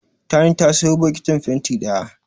Tani ta sayo bokitin fenti ɗaya.